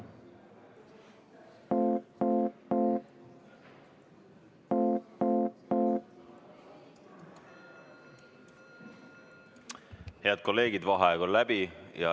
Head kolleegid, vaheaeg on läbi.